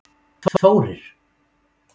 Þórir